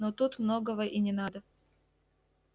но тут многого и не надо